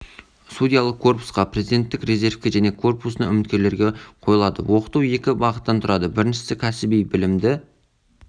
судьялық корпусқа президенттік резервке және корпусына үміткерлерге қойылады оқыту екі бағыттан тұрады біріншісі кәсіби білімді